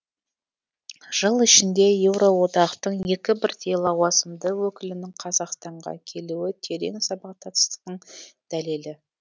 жыл ішінде еуроодақтың екі бірдей лауазымды өкілінің қазақстанға келуі терең сабақтастықтың дәлелі